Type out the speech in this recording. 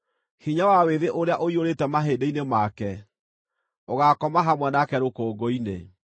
Hinya wa wĩthĩ ũrĩa ũiyũrĩte mahĩndĩ-inĩ make ũgaakoma hamwe nake rũkũngũ-inĩ.